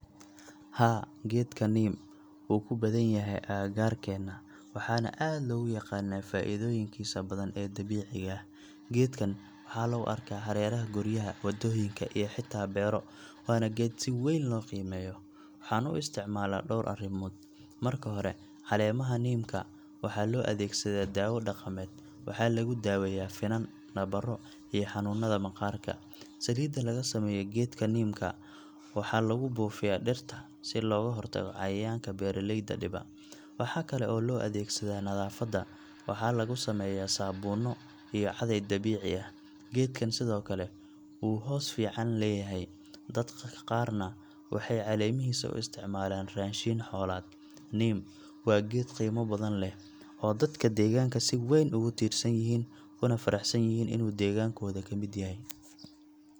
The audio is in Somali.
Haa, geedka neem wuu ku badan yahay agagaarkeena, waxaana aad loogu yaqaannaa faa’iidooyinkiisa badan ee dabiiciga ah. Geedkan waxaa lagu arkaa hareeraha guryaha, waddooyinka, iyo xitaa beero, waana geed si weyn loo qiimeeyo. Waxaan u isticmaalaa dhowr arrimood. Marka hore, caleemaha neem ka waxaa loo adeegsadaa daawo dhaqameed – waxaa lagu daaweeyaa finan, nabaro, iyo xanuunada maqaarka. Saliidda laga sameeyo geedka neem-ka waxaa lagu buufiyaa dhirta si looga hortago cayayaanka beeraleyda dhiba. Waxaa kale oo loo adeegsadaa nadaafadda – waxaa laga sameeyaa sabuunno iyo caday dabiici ah. Geedkan sidoo kale wuu hoos fiican leeyahay, dadka qaarna waxay caleemihiisa u isticmaalaan raashin xoolaad. Neem waa geed qiimo badan leh, oo dadka deegaanka si weyn ugu tiirsan yihiin, kuna faraxsan yihiin inuu deegaankooda ka mid yahay.